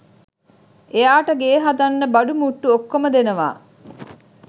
එයාට ගේ හදන්න බඩු මුට්ටු ඔක්කොම දෙනවා